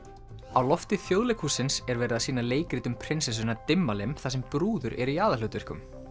á lofti Þjóðleikhússins er verið að sýna leikrit um prinsessuna Dimmalimm þar sem brúður eru í aðalhlutverkum